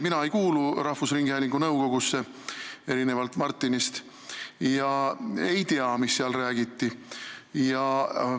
Erinevalt Martinist mina rahvusringhäälingu nõukogusse ei kuulu ega tea, mida seal räägitud on.